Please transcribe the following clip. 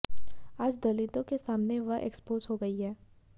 आज दलितों के सामने वह एक्सपोज हो गई हैं